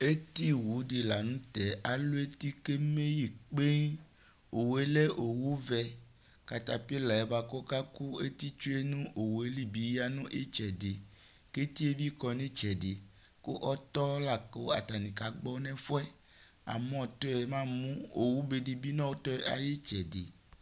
eti owu di lantɛ alu eti ku eme kpee owue lɛ owu vɛ katpilɛ bua ku ɔka ku eti tsoe nu owue li bi ya nu itsɛdi ku etie bi kɔ nu itsɛdi ku ɔtɔ la ku atani ka gbɔ nu ɛfuɛ amu ɔtɔ mu amu owu be di bi nu ɔtɔɛ ayu itsɛdi